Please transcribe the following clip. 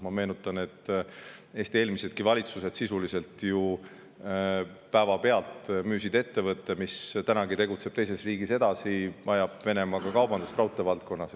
Ma meenutan, et eelmisedki valitsused müüsid ju sisuliselt päevapealt maha ettevõtte, mis tegutseb siiani teises riigis edasi ja ajab Venemaaga kaubandust raudteevaldkonnas.